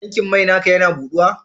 Tankin mai naka Yana kubawa?